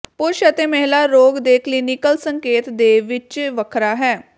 ਪੁਰਸ਼ ਅਤੇ ਮਹਿਲਾ ਰੋਗ ਦੇ ਕਲੀਨਿਕਲ ਸੰਕੇਤ ਦੇ ਵਿੱਚ ਵੱਖਰਾ ਹੈ